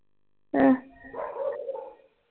ਹੈ